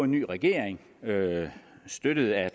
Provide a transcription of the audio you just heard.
ny regering støttet af